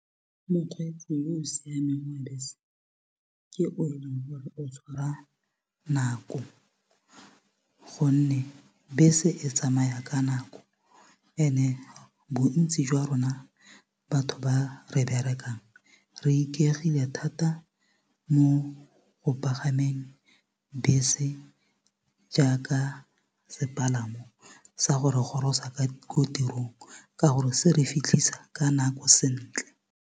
Mokgweetsi yo o siameng wa bese ke o eleng gore o tshwara nako gonne bese e tsamaya ka nako and-e bontsi jwa rona batho ba re berekang re ikaegile thata mo go bapagameng bese jaaka sepalamo sa go re gorosa ko tirong ka gore se re fitlhisa ka nako sentle.